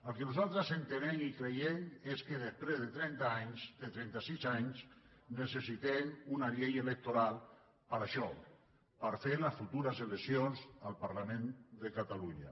el que nosaltres entenem i creiem és que després de trenta anys de trentasis anys necessitem una llei electoral per a això per fer les futures eleccions al parlament de catalunya